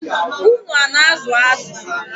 Unu a na-azụ azụ?